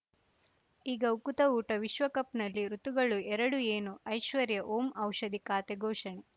ಈಗ ಉಕುತ ಊಟ ವಿಶ್ವಕಪ್‌ನಲ್ಲಿ ಋತುಗಳು ಎರಡು ಏನು ಐಶ್ವರ್ಯಾ ಓಂ ಔಷಧಿ ಖಾತೆ ಘೋಷಣೆ